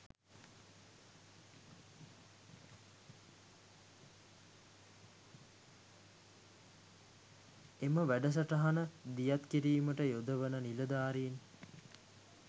එම වැඩසටහන දියත් කිරීමට යොදවන නිලධාරීන්